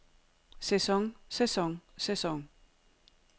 sæson sæson sæson